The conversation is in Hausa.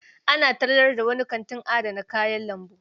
Ana tallar da wani kantin adana kayan lambu.